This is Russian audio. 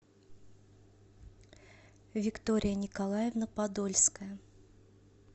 виктория николаевна подольская